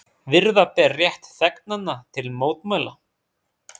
Virða beri rétt þegnanna til mótmæla